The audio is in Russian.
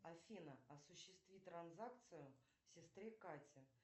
афина осуществи транзакцию сестре кате